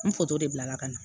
N de bila la ka na